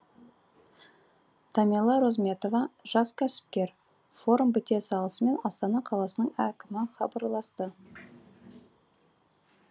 тамила розметова жас кәсіпкер форум біте салысымен астана қаласының әкімі хабарласты